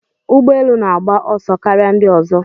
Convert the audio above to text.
Ụgbọ elu na-agba ọsọ karịa ndị ọzọ.